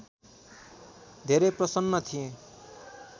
धेरै प्रसन्न थिए